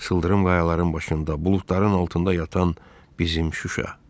Çıldırım qayaların başında, buludların altında yatan bizim Şuşa.